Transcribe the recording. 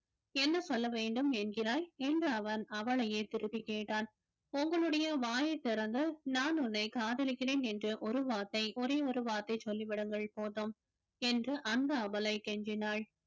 என்ன சொல்ல வேண்டும் என்கிறாய் என்று அவன் அவளையே திருப்பி கேட்டான் உங்களுடைய வாயை திறந்து நான் உன்னை காதலிக்கிறேன் என்று ஒரு வார்த்தை ஒரே ஒரு வார்த்தை சொல்லி விடுங்கள் போதும் என்று அந்த அபலை கெஞ்சினாள்